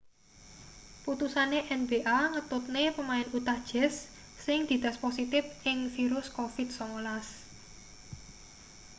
putusane nba ngetutne pemain utah jazz sing dites positip ing virus covid-19